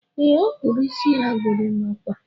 E, ọ kpụrụ isi ya gorimakwa